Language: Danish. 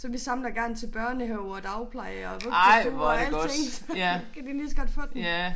Så vi samler gerne til børnehaver og dagplejer og vuggestuer og alting så kan de lige så godt få dem